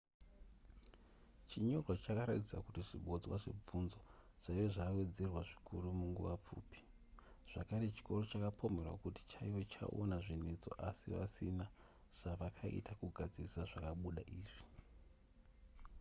chinyorwa chakaratidza kuti zvibodzwa zvebvunzo zvaiva zvawedzera zvikuru munguva pfupi zvakare chikoro chakapomerwa kuti chaiva chaona zvinetso asi vasina zvavakaita kugadzirisa zvakabuda izvi